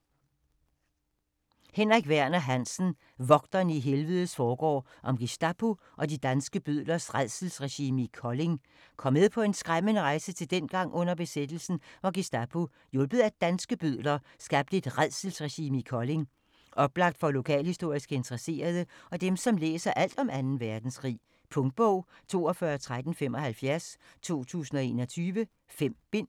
Hansen, Henrik Werner: Vogterne i helvedes forgård: om Gestapo og de danske bødlers rædselsregime i Kolding Kom med på en skræmmende rejse til dengang under besættelsen, hvor Gestapo - hjulpet af danske bødler - skabte et "rædselsregime" i Kolding. Oplagt for lokalhistorisk interesserede og dem, som læser alt om 2. verdenskrig. Punktbog 421375 2021. 5 bind.